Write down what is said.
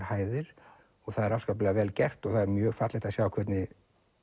hæðir og það er afskaplega vel gert og það er mjög fallegt að sjá hvernig